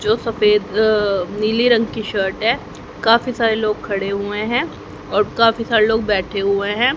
जो सफेद अ नीली रंग की शर्ट है काफी सारे लोग खड़े हुए हैं और काफी सारे लोग बैठे हुए हैं।